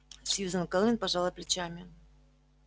сьюзен кэлвин пожала плечами